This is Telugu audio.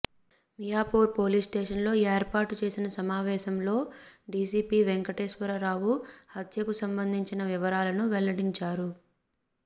మియాపూర్ పోలీస్ స్టేషన్లో ఏర్పాటు చేసిన సమావేశంలో డీసీపీ వెంకటేశ్వర రావు హత్యకు సంబంధించిన వివరాలను వెల్లడించారు